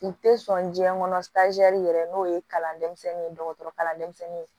U tɛ sɔn diɲɛ kɔnɔ yɛrɛ n'o ye kalan denmisɛnnin ye dɔgɔtɔrɔkalanden ye